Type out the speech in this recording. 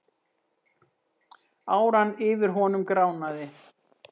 Áran yfir honum gránaði.